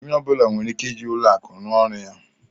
Onye ọ bụla nwere ike ịji ụlọ akụ rụ ọrụ ya